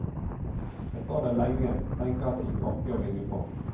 Jeg står der lenge, tenker at jeg ikke orker å ringe på.